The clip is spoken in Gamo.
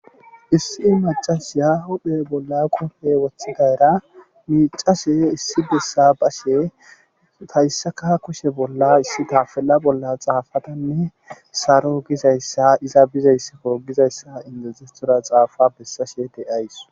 Issi macas ya hudhe bolla qufe woththidayra miicashe issi bessa bashe tayssaka kushe bolla issi tafella bolla xaafatanne saro gizayssa iza bizaysskogizayssa indezetora xaafa bessashe de7ays